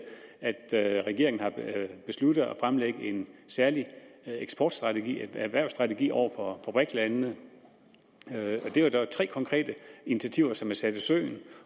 det at regeringen har besluttet at fremlægge en særlig eksportstrategi en erhvervsstrategi over for brik landene det er dog tre konkrete initiativer som er blevet sat i søen